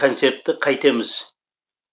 концертті қайтеміз